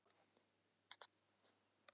En þar var engin kerra.